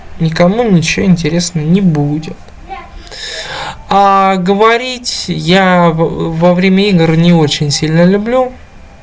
ни кому ничего интересно не будет а говорить я во время игр не очень сильно люблю